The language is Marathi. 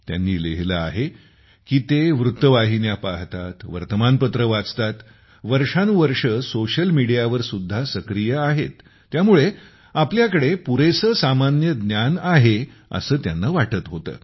त्यांनी लिहिले आहे की ते वृत्तवाहिन्या पाहतात वर्तमानपत्रे वाचतात वर्षानुवर्षे सोशल मीडियावरसुद्धा सक्रिय आहेत त्यामुळे आपल्याकडे पुरेसे सामान्य ज्ञान आहे असे त्यांना वाटत होते